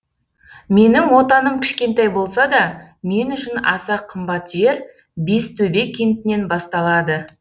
менің отаным кішкентай болса да мен үшін аса қымбат жер бестөбе кентінен басталады